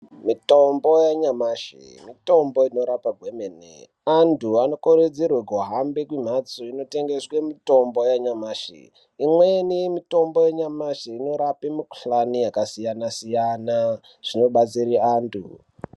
Mitombo yanyamashi mitombo inorapa kwemene anthu anokurudzirwa kuhambe kumhatso inotengeswe mitombo yanyamashi imweni mitombo yanyamashi inorape mikuhlani yakasiyana siyana zvinobatsire anthu.